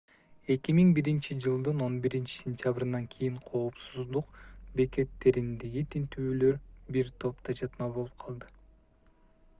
2001-жылдын 11-сентябрынан кийин коопсуздук бекеттериндеги тинтүүлөр бир топ тажатма болуп калды